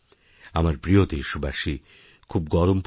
আমার প্রিয় দেশবাসী খুব গরম পড়েছে